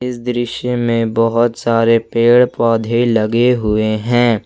इस दृश्य में बहुत सारे पेड़ पौधे लगे हुए हैं।